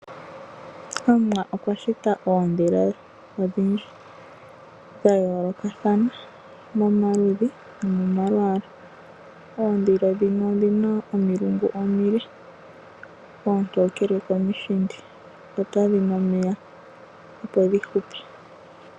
Omuwa okwa shita oondhila odhindji dha yoolokathana momalwaala . Oondhila dhimwe odhina omilungu omile oontookele komishindi dho kadhina . Otadhi nu omeya opo dhi hupe.